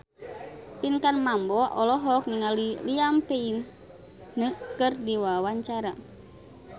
Pinkan Mambo olohok ningali Liam Payne keur diwawancara